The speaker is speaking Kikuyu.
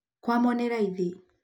kwamo nĩ raithi.